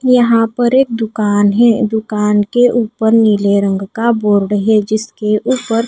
यहां पर एक दुकान है दुकान के ऊपर नीले रंग का बोर्ड है जिसके ऊपर--